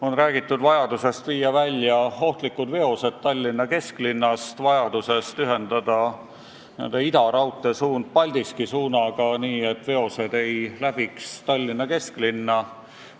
On räägitud vajadusest viia ohtlikud veosed Tallinna kesklinnast välja ja ühendada raudtee idasuund Paldiski suunaga, nii et veosed ei läbiks Tallinna kesklinna.